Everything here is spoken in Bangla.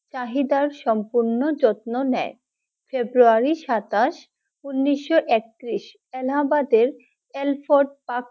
তাহিদার সম্পূর্ণ যত্ন দয় February সাতাশ উনিশ একত্রিশ এলাহাবাদের Alford Park!